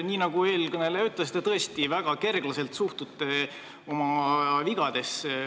Nii nagu eelkõneleja ütles, te suhtute oma vigadesse tõesti väga kerglaselt.